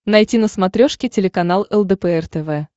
найти на смотрешке телеканал лдпр тв